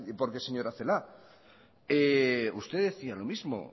porque señora celaá usted decía lo mismo